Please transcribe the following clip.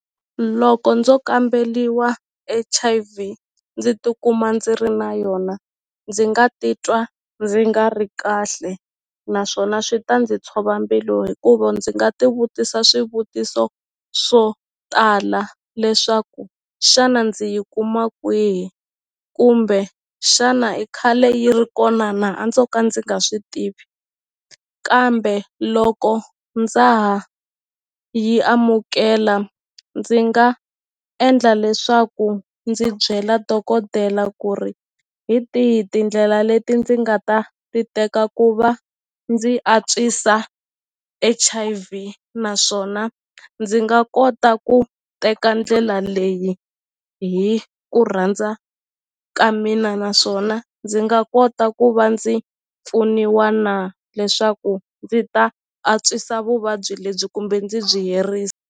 Loko ndzo kambeliwa H_I_V ndzi tikuma ndzi ri na yona ndzi nga titwa ndzi nga ri kahle naswona swi ta ndzi tshova mbilu hikuva ndzi nga ti vutisa swivutiso swo tala leswaku xana ndzi yi kuma kwihi kumbe xana i khale yi ri kona na a ndzo ka ndzi nga swi tivi kambe loko ndza ha yi amukela ndzi nga endla leswaku ndzi byela dokodela ku ri hi tihi tindlela leti ndzi nga ta ti teka ku va ndzi antswisa H_I_V naswona ndzi nga kota ku teka ndlela leyi hi ku rhandza ka mina naswona ndzi nga kota ku va ndzi pfuniwa na leswaku ndzi ta antswisa vuvabyi lebyi kumbe ndzi byi herisa.